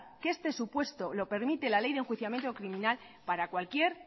que este supuesto lo permite la ley de enjuiciamiento criminal para cualquier